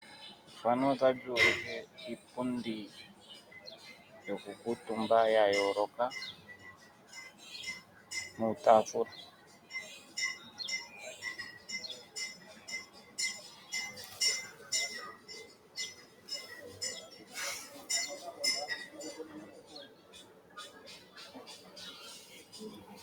Efano otali ulike iipundi yoku kuutumba yayoloka nuutafula.